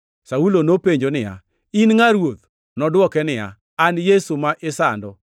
Saulo nopenjo niya, “In ngʼa, Ruoth?” Nodwoke niya, “An Yesu ma isando.